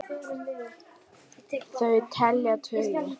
Þau telja tugi.